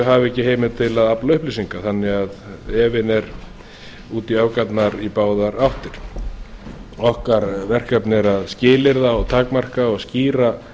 hafi ekki heimild til að afla upplýsinga þannig að efinn er út í öfgarnar í báðar áttir okkar verkefni er að skilyrða takmarka og skýra